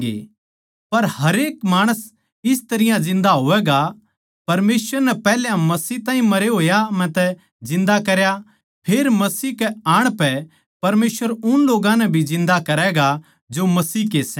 पर हरेक माणस इस तरियां जिन्दा होवैगा परमेसवर नै पैहल्या मसीह ताहीं मरे होया म्ह तै जिन्दा करया फेर मसीह कै आण पै परमेसवर उन लोग्गां नै भी जिन्दा करैगा जो मसीह के सै